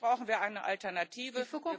Natürlich brauchen wir eine Alternative.